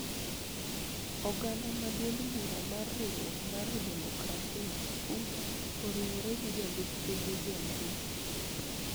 Oganda ma duond bura mar Riwruok mar Demokrasia (UDA) oriwore gi Jalup Ker William Ruto